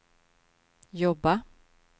jobba